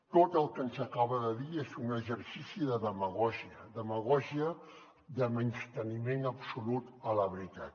tot el que ens acaba de dir és un exercici de demagògia demagògia de menysteniment absolut a la veritat